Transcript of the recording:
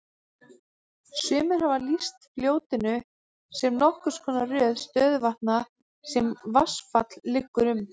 Sumir hafa því lýst fljótinu sem nokkurs konar röð stöðuvatna sem vatnsfall liggur um.